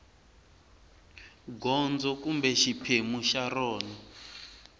gondzo kumbe xiphemu xa rona